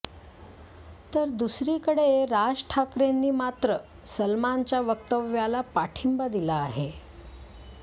तर दुसरीकडे राज ठाकरेंनी मात्र सलमानच्या वक्तव्याला पाठिंबा दिला आहे